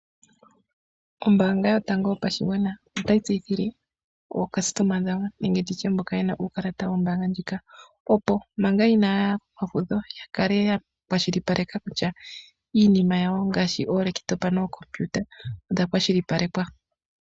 Ombaanga yotango yopashigwana otayi tseyithile aayakulwa yawo nenge moka yena uukalata wawo wombaanga ndjoka , opo manga inaaya kefudho yakale yakwashilipaleka kutya iinima gawo ngaashi oolaptop nookompiuta odha kwashilipalekwa.